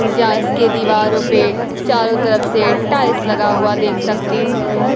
के दीवारों पे चारों तरफ से टाइल्स लगा हुआ देख सकती हूं।